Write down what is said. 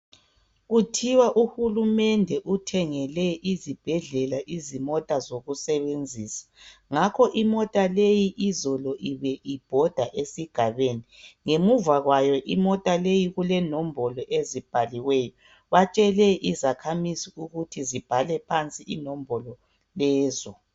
Kuthiwa uhulumende uthengele izibhedlela izimota zokusebenzisa ngakho imota leyi izolo ibe ibhoda esigabeni ngemuva kwayo imota leyi kulenombolo ezibhaliweyo batshele izakhamizi ukuthi zibhale phansi inombolo lezo.